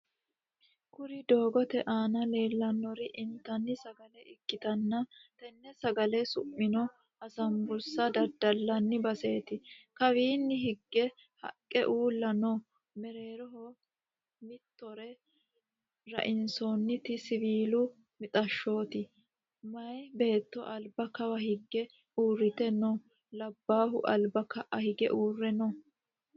Kuri doogote aana leellannori intanni sagale ikkitana tenne sagale su'mino asambusa daddalanni baseti. Kawanni hige haqqe uulla no. mereeroho mitore rainsanniit siwiilu mixaashshoti. meya beetto alba kawa higge uurrite no.labbahu alba ka'a hige uurre no.